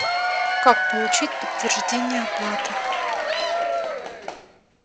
как получить подтверждение оплаты